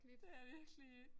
Ja virkelig